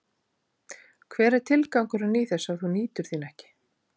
Hver er tilgangurinn í þessu ef þú nýtur þín ekki?